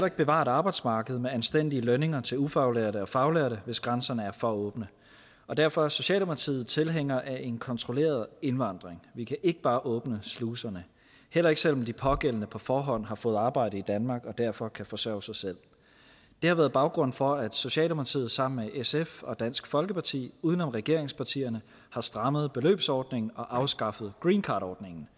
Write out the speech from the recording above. ikke bevare et arbejdsmarked med anstændige lønninger til ufaglærte og faglærte hvis grænserne er for åbne og derfor er socialdemokratiet tilhængere af en kontrolleret indvandring vi kan ikke bare åbne sluserne heller ikke selv om de pågældende på forhånd har fået arbejde i danmark og derfor kan forsørge sig selv det har været baggrunden for at socialdemokratiet sammen med sf og dansk folkeparti uden om regeringspartierne har strammet beløbsordningen og afskaffet greencardordningen